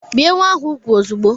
Bie nwa ahụ úgwù ozugbo!